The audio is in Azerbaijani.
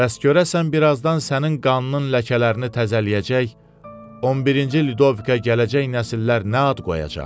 Bəs görəsən birazdan sənin qanının ləkələrini təzələyəcək, 11-ci Ludovikə gələcək nəsillər nə ad qoyacaq?